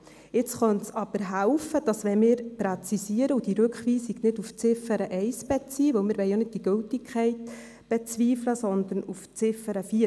Jetzt könnte es aber helfen, wenn wir präzisieren und die Rückweisung nicht auf die Ziffer 1 beziehen – denn wir wollen ja nicht die Gültigkeit bezweifeln –, sondern auf die Ziffer 4.